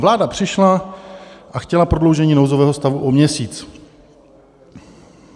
Vláda přišla a chtěla prodloužení nouzového stavu o měsíc.